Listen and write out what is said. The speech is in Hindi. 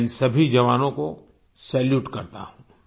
मैं इन सभी जवानों को सैल्यूट करता हूँ